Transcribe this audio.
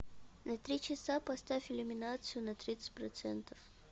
на три часа поставь иллюминацию на тридцать процентов